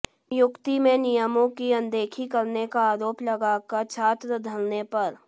नियुक्ति में नियमों की अनदेखी करने का आरोप लगाकर छात्र धरने पर